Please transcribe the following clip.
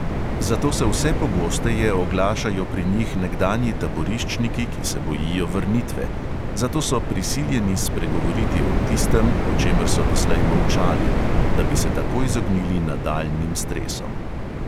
Zato se vse pogosteje oglašajo pri njih nekdanji taboriščniki, ki se bojijo vrnitve, zato so prisiljeni spregovoriti o tistem, o čemer so doslej molčali, da bi se tako izognili nadaljnjim stresom.